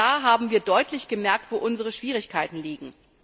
Auch da haben wir deutlich gemerkt, wo unsere Schwierigkeiten liegen.